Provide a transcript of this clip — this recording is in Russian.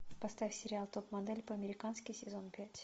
поставь сериал топ модель по американски сезон пять